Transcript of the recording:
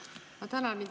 Ma tänan!